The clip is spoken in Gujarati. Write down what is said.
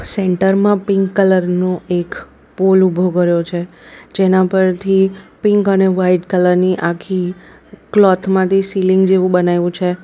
સેન્ટરમાં પિંક કલર નો એક પોલ ઊભો કર્યો છે જેના પરથી પિંક અને વાઈટ કલરની આખી ક્લોથ માંથી સીલીંગ જેવું બનાય્વુ છે.